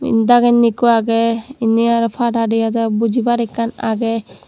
yen dagenni ekku agey endi aro pada dega jar bojibar ekkan agey.